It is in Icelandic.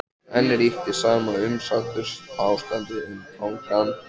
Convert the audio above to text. Og enn ríkti sama umsáturs- ástandið um Tangann.